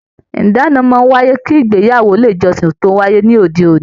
Ìdáná máa n wáyé kí ìgbéyàwó ilé ìjọsìn tó wáyé ní òde òní.